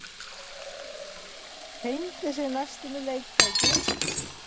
Hengdi sig næstum í leiktæki